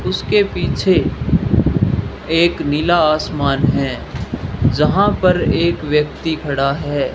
उसके पीछे एक नीला आसमान है जहां पर एक व्यक्ति खड़ा है।